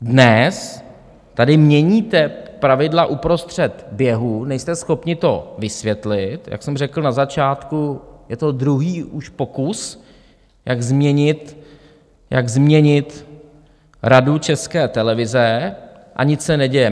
Dnes tady měníte pravidla uprostřed běhu, nejste schopni to vysvětlit, jak jsem řekl na začátku, je to už druhý pokus, jak změnit Radu České televize, a nic se neděje.